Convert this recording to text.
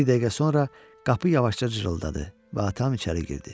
Bir dəqiqə sonra qapı yavaşca cırıldadı və atam içəri girdi.